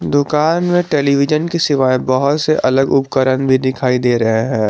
दुकान में टेलीविजन के सिवाए बहुत से अलग उपकरण भी दिखाई दे रहे हैं।